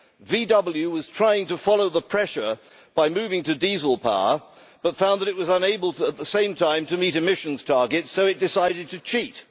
Volkswagen was trying to follow the pressure by moving to diesel power but found that it was unable at the same time to meet emissions targets, so it decided to cheat.